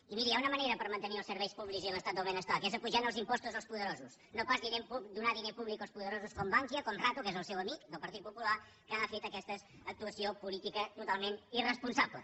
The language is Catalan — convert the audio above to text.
i miri hi ha una manera per mantenir els serveis públics i l’estat del benestar que és apujant els impostos als poderosos no pas donar diner públic als poderosos com bankia com rato que és el seu amic del partit popular que ha fet aquesta actuació política totalment irresponsable